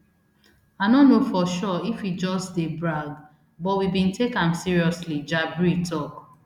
i no know for sure if e just dey brag but we bin take am seriously jabri tok